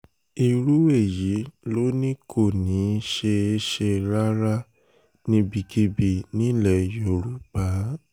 irú èyí ló ní kò ní í ṣeé ṣe rárá níbikíbi nílẹ̀ yorùbá